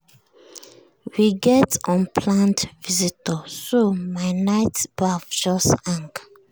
we get unplanned visitors so my night baff just hang.